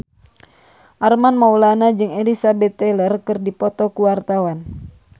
Armand Maulana jeung Elizabeth Taylor keur dipoto ku wartawan